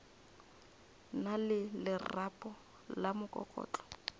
na le lerapo la mokokotlo